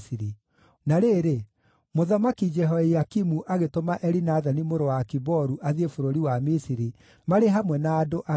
Na rĩrĩ, Mũthamaki Jehoiakimu agĩtũma Elinathani mũrũ wa Akiboru athiĩ bũrũri wa Misiri, marĩ hamwe na andũ angĩ.